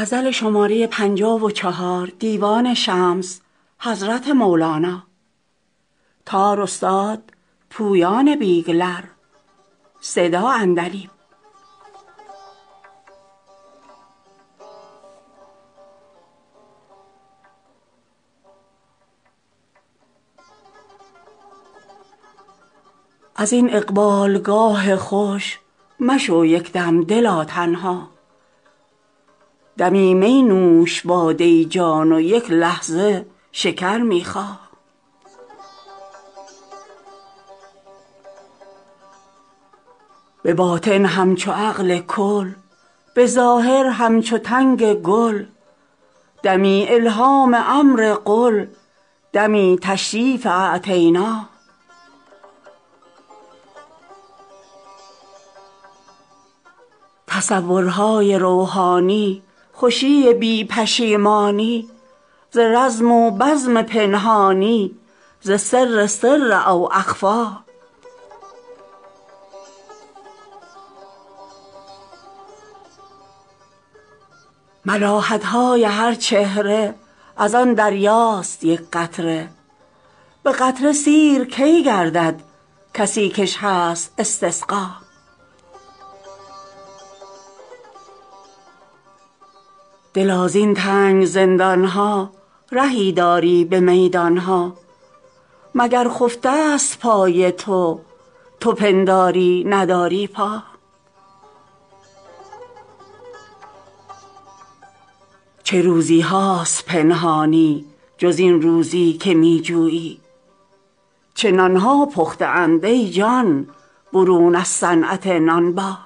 از این اقبالگاه خوش مشو یک دم دلا تنها دمی می نوش باده جان و یک لحظه شکر می خا به باطن همچو عقل کل به ظاهر همچو تنگ گل دمی الهام امر قل دمی تشریف اعطینا تصورهای روحانی خوشی بی پشیمانی ز رزم و بزم پنهانی ز سر سر او اخفی ملاحت های هر چهره از آن دریاست یک قطره به قطره سیر کی گردد کسی کش هست استسقا دلا زین تنگ زندان ها رهی داری به میدان ها مگر خفته ست پای تو تو پنداری نداری پا چه روزی هاست پنهانی جز این روزی که می جویی چه نان ها پخته اند ای جان برون از صنعت نانبا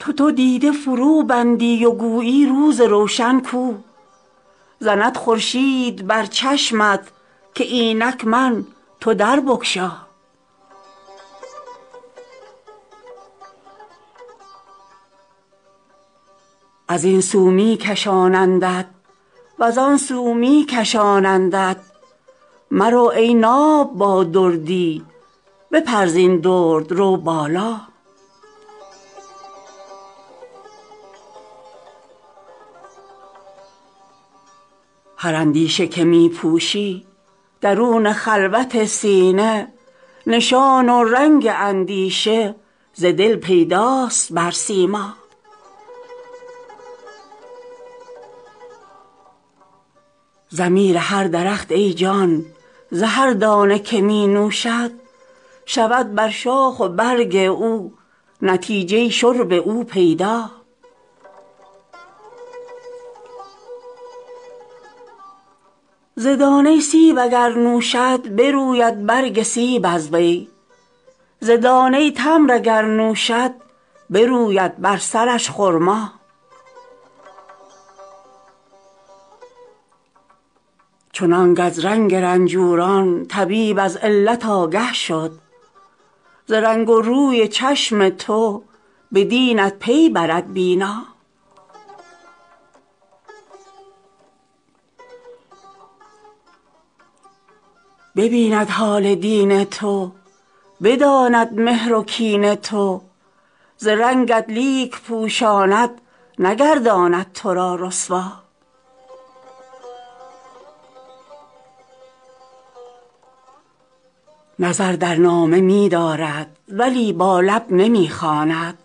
تو دو دیده فروبندی و گویی روز روشن کو زند خورشید بر چشمت که اینک من تو در بگشا از این سو می کشانندت و زان سو می کشانندت مرو ای ناب با دردی بپر زین درد رو بالا هر اندیشه که می پوشی درون خلوت سینه نشان و رنگ اندیشه ز دل پیداست بر سیما ضمیر هر درخت ای جان ز هر دانه که می نوشد شود بر شاخ و برگ او نتیجه شرب او پیدا ز دانه سیب اگر نوشد بروید برگ سیب از وی ز دانه تمر اگر نوشد بروید بر سرش خرما چنانک از رنگ رنجوران طبیب از علت آگه شد ز رنگ و روی چشم تو به دینت پی برد بینا ببیند حال دین تو بداند مهر و کین تو ز رنگت لیک پوشاند نگرداند تو را رسوا نظر در نامه می دارد ولی با لب نمی خواند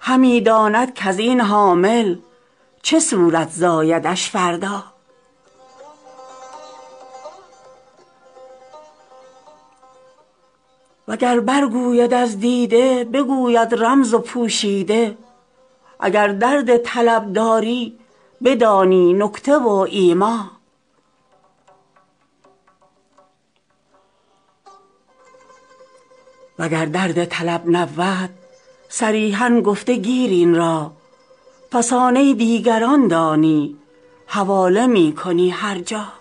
همی داند کز این حامل چه صورت زایدش فردا وگر برگوید از دیده بگوید رمز و پوشیده اگر درد طلب داری بدانی نکته و ایما وگر درد طلب نبود صریحا گفته گیر این را فسانه دیگران دانی حواله می کنی هر جا